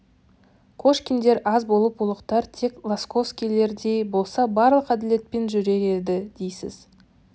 кошкиндер аз болып ұлықтар тек лосовскийлердей болса барлық әділетпен жүрер еді дейсіз